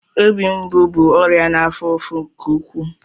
Obi mgbu bụ ọrịa na-afo ụfụ nke ụkwụụ.